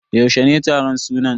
Yaushe ne taron sunan?